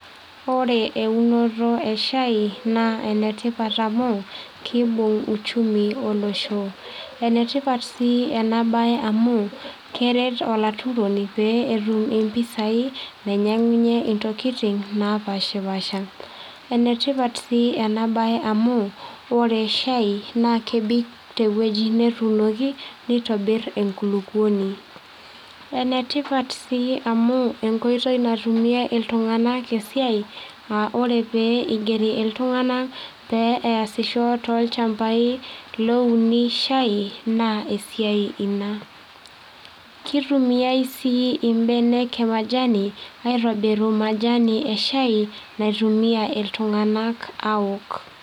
Ore eunoto eshai naa enetipat amu kibung uchumi olosho. Enetipat sii enabae amu keret olaturoni pee etum impisai , nainyiangunyie intokitin napaspasha . Enetipat sii enabae amu orre shai naa kebik tewueji netuunoki nintobir enkulupuoni . Enetipat sii amu enkoitoi natumie iltunganak esiai aa ore pee igeri iltunganak pee easisho tolchambai louni shai naa esiai ina . Kitumiai sii imbenek emajani aitobiru majani eshai naitumiay iltunganak aok.